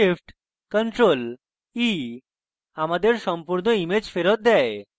shift + ctrl + e আমাদের সম্পূর্ণ image ফেরৎ দেয়